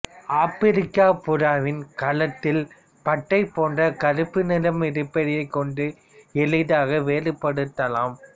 ஆப்பிரிக்க புறாவின் கழுத்தில் பட்டை போன்ற கறுப்பு நிறம் இருப்பதை கொண்டு எளிதாக வேறுபடுத்தலாம்